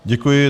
Děkuji.